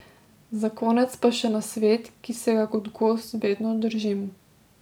Za konec pa še nasvet, ki se ga kot gost vedno držim.